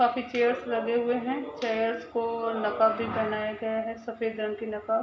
काफी चेयर्स लगे हुए है चेयर्स को नकाब भी पहनाया गया है सफ़ेद रंग के नकाब --